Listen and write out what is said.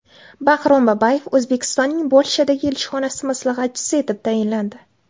Baxrom Babayev O‘zbekistonning Polshadagi elchixonasi maslahatchisi etib tayinlandi.